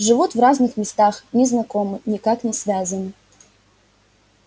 живут в разных местах не знакомы никак не связаны